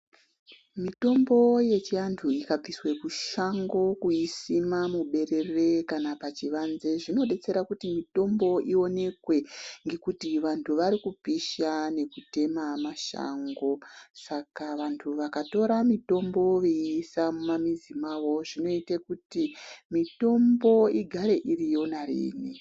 Mitombo yechiantu ikabviswe kushango kuisima muberere, kana pachivanze, zvinodetsera kuti mitombo ionekwe ngekuti vanhu vari kupisha nekutema mashango. Saka vantu vakatora mitombo veiisa mumamizi mavo zvinoite kuti mitombo igare iriyo nariini.